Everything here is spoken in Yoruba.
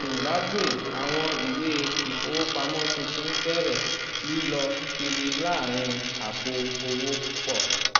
zimbabwe awọn iwe ifowopamọ tuntun bẹrẹ lilọ kiri láàrin àpò owó púpọ̀.